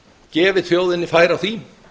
gefið þjóðinni færi á því